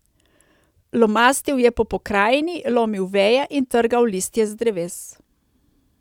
Lomastil je po pokrajini, lomil veje in trgal listje z dreves.